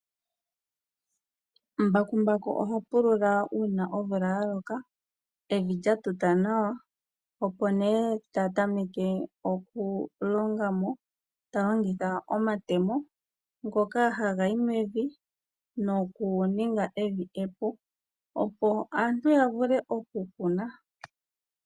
Mbakumbaku oha pulula uuna omvula yaloka , evi lyatuta nawa, opo yatameke okulongamo taya longitha omatemo , ngoka haga yi mevi ,nokuninga evi epu ,opo aantu yavule okukuna.